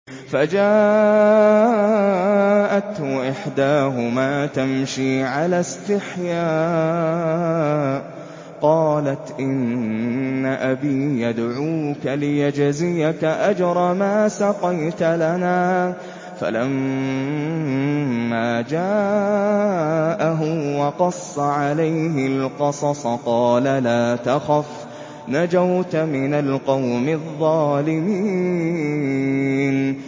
فَجَاءَتْهُ إِحْدَاهُمَا تَمْشِي عَلَى اسْتِحْيَاءٍ قَالَتْ إِنَّ أَبِي يَدْعُوكَ لِيَجْزِيَكَ أَجْرَ مَا سَقَيْتَ لَنَا ۚ فَلَمَّا جَاءَهُ وَقَصَّ عَلَيْهِ الْقَصَصَ قَالَ لَا تَخَفْ ۖ نَجَوْتَ مِنَ الْقَوْمِ الظَّالِمِينَ